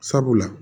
Sabula